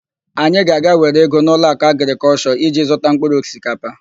Anyị ga-aga were ego n'Ụlọakụ Agrịkọlshọ iji zụta mpkụrụ osikapa.